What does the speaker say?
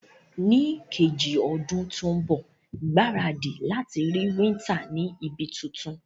Ní kejì odún to n bò, gbáradì láti rí winter ni ibi tuntun